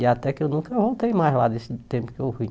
E até que eu nunca voltei mais lá nesse tempo que eu fui.